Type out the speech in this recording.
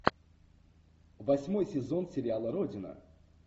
восьмой сезон сериала родина